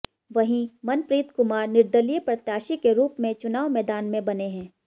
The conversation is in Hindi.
वहीं मनप्रीत कुमार निर्दलीय प्रत्याशी के रूप में चुनाव मैदान में बने हैं